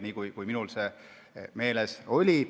Nii on see minul meeles.